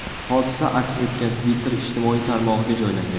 Hodisa aks etgan Twitter ijtimoiy tarmog‘iga joylangan .